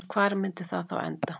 En hvar myndi það þá enda?